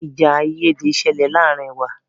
Ìjà àìyédè ṣẹlẹ̀ láàárín wa.